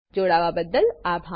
જોડાવા બદલ આભાર